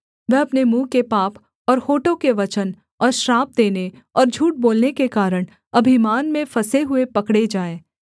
वह अपने मुँह के पाप और होठों के वचन और श्राप देने और झूठ बोलने के कारण अभिमान में फँसे हुए पकड़े जाएँ